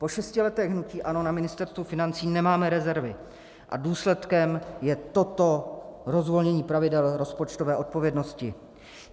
Po šesti letech hnutí ANO na Ministerstvu financí nemáme rezervy a důsledkem je toto rozvolnění pravidel rozpočtové odpovědnosti.